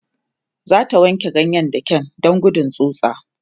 zata wanke ganyen da kyau Dan gudun tsutsa